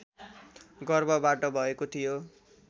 गर्भबाट भएको थियो